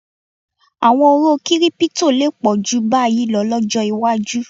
À̀wọn oró kírípítò lè pọ̀ jù báyìí lọ lọ́jọ́ iwájú